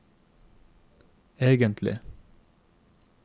egentlig